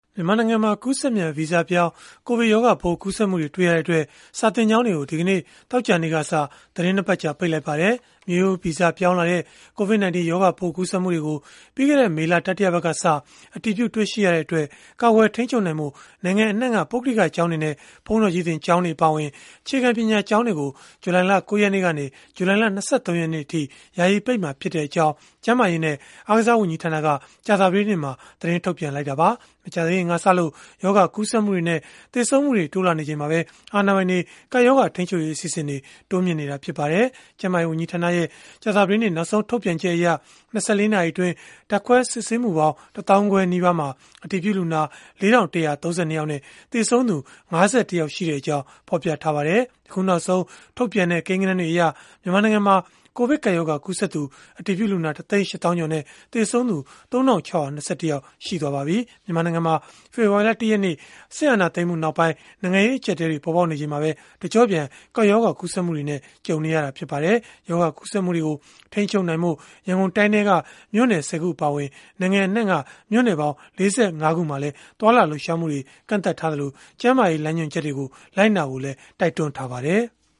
မြန်မာနိုင်ငံမှာ ကူးစက်မြန် ဗီဇပြောင်း ကိုဗစ်ရောဂါပိုး ကူးစက်မှုတွေ တွေ့ရှိရတဲ့အတွက် စာသင်ကျောင်းတွေကို ဒီကနေ့ သောကြာနေ့ကစ သီတင်း ၂ ပတ် ကြာ ပိတ်လိုက်ပါတယ်။ မျိုးရိုးဗီဇပြောင်းလဲလာတဲ့ COVID-19 ရောဂါပိုး ကူးစက်မှုတွေကို ပြီးခဲ့တဲ့ မေလ တတိယပတ်ကစ အတည်ပြု တွေ့ရှိရတဲ့အတွက် ကာကွယ်ထိန်းချုပ်နိုင်ဖို့ နိုင်ငံအနှံ့က ပုဂ္ဂလိကကျောင်းတွေနဲ့ ဘုန်းတော်ကြီးသင် ကျောင်းတွေအပါအဝင် အခြေခံပညာ ကျောင်းတွေကို ဇူလိုင်လ ၉ ရက်နေ့ကနေ ဇူလိုင်လ ၂၃ ရက်နေ့အထိ ယာယီပိတ်မှာဖြစ်ကြောင်း ကျန်းမာရေးနဲ့ အားကစား ဝန်ကြီးဌာနက ကြာသပတေးနေ့မှာပဲ သတင်းထုတ်ပြန်ခဲ့တာပါ။ မကြာသေးခင်ကစလို့ ရောဂါကူးစက်မှုတွေနဲ့ သေဆုံးမှုတွေ တိုးလာနေချိန်မှာပဲ အာဏာပိုင်တွေ ကပ်ရောဂါ ထိန်းချုပ်ရေး အစီအစဉ်တွေကို တိုးမြှင့်နေတာ ဖြစ်ပါတယ်။ ကျန်းမာရေး ဝန်ကြီးဌာနရဲ့ ကြာသပတေးနေ့ နောက်ဆုံး ထုတ်ပြန်ချက်အရ ၂၄ နာရီအတွင်း ဓာတ်ခွဲ စစ်ဆေးမှုပေါင်း ၁ သောင်းခွဲနီးပါးမှာ အတည်ပြုလူနာ ၄,၁၃၂ ယောက်နဲ့ သေဆုံးသူ ၅၁ ယောက်ရှိကြောင်း ဖော်ပြထားပါတယ်။ အခုနောက်ဆုံး ထုတ်ပြန်တဲ့ ကိန်းဂဏန်းတွေအရ မြန်မာနိုင်ငံမှာ ကိုဗစ်ကပ်ရောဂါ ကူးစက်သူအတည်ပြုလူနာ ၁ သိန်း ၈ သောင်းကျော်နဲ့ သေဆုံးသူ ၃,၆၂၁ ယောက် ရှိသွားပါပြီ။ မြန်မာနိုင်ငံမှာ ဖေဖော်ဝါရီလ ၁ ရက်နေ့ စစ်အာဏာသိမ်းမှုနောက်ပိုင်း နိုင်ငံရေး အကျပ်အတည်းတွေ ပေါ်ပေါက်နေချိန်မှာပဲ တကျော့ပြန် ကပ်ရောဂါကူးစက်မှုနဲ့ ကြုံနေရလည်း ဖြစ်ပါတယ်။ ရောဂါကူးစက်မှုတွေကို ထိန်းချုပ်နိုင်ဖို့ ရန်ကုန်တိုင်းထဲက မြို့နယ် ၁၀ ခု အပါအဝင် နိုင်ငံအနှံ့က မြို့နယ်ပေါင်း ၄၅ ခုမှာလည်း သွားလာလှုပ်ရှားမှုတွေကို ကန့်သတ်လိုက်သလို၊ ကျန်းမာရေး လမ်းညွှန်ချက်တွေကို လိုက်နာဖို့လည်း တိုက်တွန်းထားပါတယ်။